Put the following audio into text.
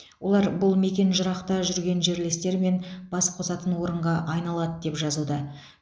олар бұл мекен жырақта жүрген жерлестер мен бас қосатын орынға айналады деп жазуда